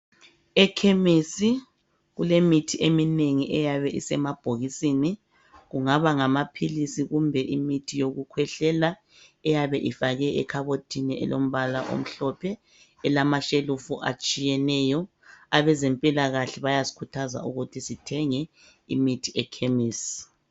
Ekhemesi kulemithi eminengi eyabe isemabhokisini. Kungaba ngamaphilisi kumbe imithi okukhwehlela eyabe ifakwe ekhabothini elombala omhlophe elamashelufu atshiyeneyo. Abezempilakahle bayasikhuthaza ukuthi sithenge imithi ekhemesi.